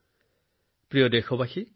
মোৰ প্ৰিয় দেশবাসী